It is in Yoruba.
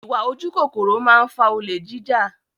Ìwà ojú kòkòrò máa ń fa olè jija